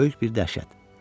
Böyük bir dəhşət.